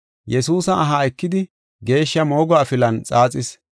Yesuusa aha ekidi, geeshsha moogo afilan xaaxis.